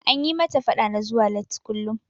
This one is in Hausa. An yi mata faɗa na zuwa latti kullum.